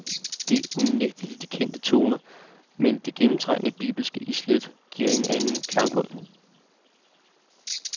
Det er unægteligt de kendte toner, men det gennemtrængende bibelske islæt giver en anden klangbund.